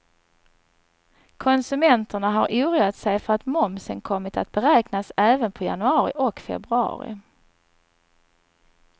Konsumenterna har oroat sig för att momsen kommit att beräknas även på januari och februari.